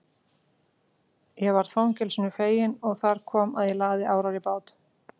Ég varð frelsinu fegin og þar kom að ég lagði árar í bát.